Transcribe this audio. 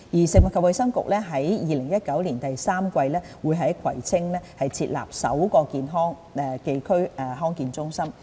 食物及衞生局將於2019年第三季在葵青區設立首個康健中心。